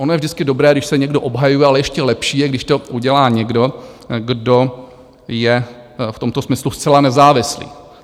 Ono je vždycky dobré, když se někdo obhajuje, ale ještě lepší je, když to udělá někdo, kdo je v tomto smyslu zcela nezávislý.